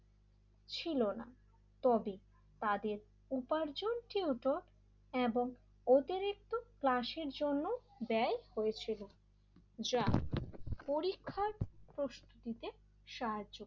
ছিলনা তবে তাদের উপার্জনিত এবং অতিরিক্ত ক্লাসের জন্য ব্যয় হয়েছিল যা পরীক্ষার প্রশ্ন দিতে সাহায্য,